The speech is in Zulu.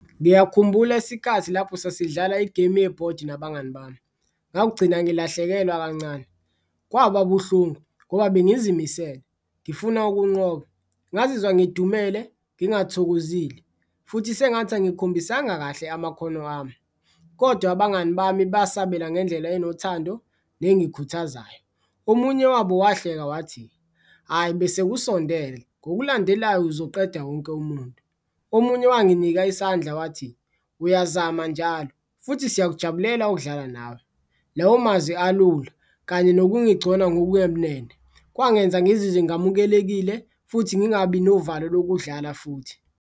Ngiyakhumbula isikhathi lapho sasidlala igemu yebhodi nabangani bami ngakugcina ngilahlekelwa kancane, kwababuhlungu ngoba bengizimisele ngifuna ukunqoba ngazizwa ngidumele, ngingathokozile futhi sengathi angikhombisanga kahle amakhono ami, kodwa abangani bami basabela ngendlela enothando nengikhuthazayo. Omunye wabo wahleka wathi, ayi bese kusondele ngokulandelayo uzoqeda wonke umuntu, omunye wanginika isandla wathi, uyazama njalo futhi siyakujabulela ukudlala nawe, lawo mazwi alula kanye nokungigcona ngokungemnene kwangenza ngizizwe ngamukelekile futhi ngingabi novalo lokudlala futhi.